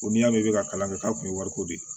Ko n'i y'a mɛn i bɛ kalan kɛ k'a kun ye wariko de ye